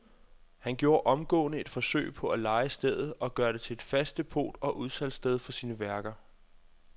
Han gjorde omgående et forsøg på at leje stedet og gøre det til fast depot og udsalgssted for sine egne værker.